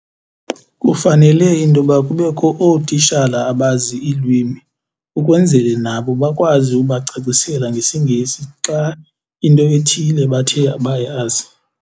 Kufanele intoba kubekho ootishala abazi iilwimi ukwenzele nabo bakwazi ubacacisela ngesiNgesi xa into ethile bathe abayazi.